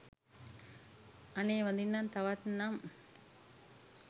අනේ වඳින්නම් තවත් නම්